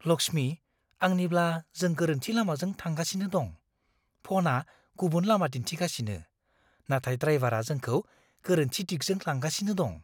लक्ष्मी, आंनिब्ला जों गोरोन्थि लामाजों थांगासिनो दं। फ'नआ गुबुन लामा दिन्थिगासिनो, नाथाय ड्राइवारा जोंखौ गोरोन्थि दिगजों लांगासिनो दं।